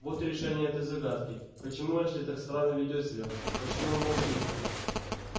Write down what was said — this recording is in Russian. вот и решение этой загадки почему эшли так странно ведёт себя почему он молчит